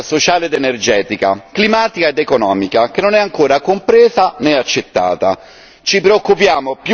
È una tempesta perfetta, sociale ed energetica, climatica ed economica, che non è ancora compresa né accettata.